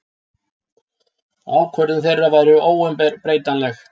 Ákvörðun þeirra væri óumbreytanleg.